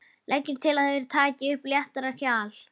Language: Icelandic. Leggur til að þeir taki upp léttara hjal.